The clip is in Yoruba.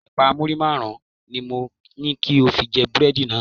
Ẹ̀pà muri márùn-ún ni mo ní kí o fi jẹ búrẹ́dì lánàá.